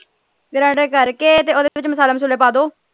Granded ਕਰਕੇ ਤੇ ਓਹਦੇ ਵਿੱਚ ਮਸਾਲੇ ਮਸੂਲੇ ਪਾ ਦਿਓ।